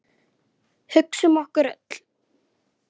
Hugsa um okkur öll.